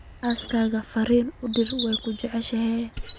xaaskayga fariin u dir waan ku jeclahay